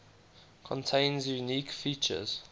contains unique features